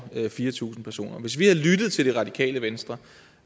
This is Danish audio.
fire tusind personer hvis vi havde lyttet til det radikale venstre